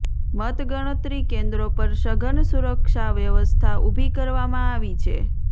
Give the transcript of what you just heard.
મતગણતરી કેન્દ્રો પર સઘન સુરક્ષા વ્યવસ્થા ઉભી કરવામાં આવી છે